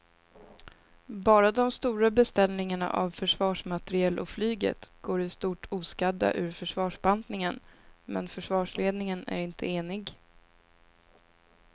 Bara de stora beställningarna av försvarsmateriel och flyget går i stort oskadda ur försvarsbantningen men försvarsledningen är inte enig.